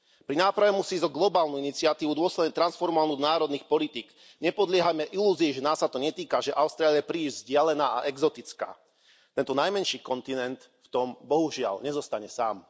Pri náprave musí ísť o globálnu iniciatívu dôsledne transformovanú do národných politík. Nepodliehajme ilúzii, že nás sa to netýka, že Austrália je príliš vzdialená a exotická. Tento najmenší kontinent v tom, bohužiaľ, nezostane sám.